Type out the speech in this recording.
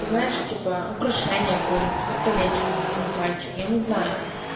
знаешь типа украшение какое-нибудь как колечко на пальчик я не знаю